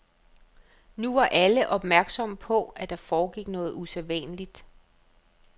Nu var alle opmærksomme på, at der foregik noget usædvanligt.